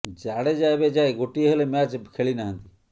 ଜାଡେଜା ଏବେ ଯାଏଁ ଗୋଟିଏ ହେଲେ ମ୍ୟାଚ ଖେଳି ନାହାନ୍ତି